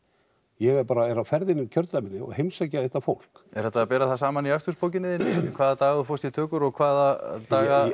ég er bara á ferðinni um kjördæmið og heimsæki þetta fólk er hægt að bera það saman í akstursbókinni þinni hvaða daga þú fórst í tökur og hvaða daga